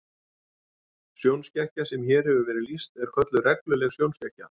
Sjónskekkja sem hér hefur verið lýst er kölluð regluleg sjónskekkja.